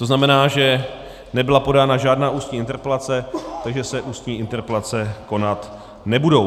To znamená, že nebyla podána žádná ústní interpelace, takže se ústní interpelace konat nebudou.